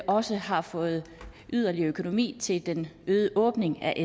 også har fået yderligere økonomi til den øgede åbning af